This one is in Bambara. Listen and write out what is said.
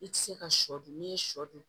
I tɛ se ka sɔ dun n'i ye sɔ dun